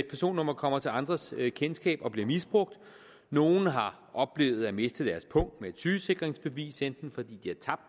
personnummer kommer til andres kendskab og bliver misbrugt nogle har oplevet at miste deres pung med et sygesikringsbevis i enten fordi de har tabt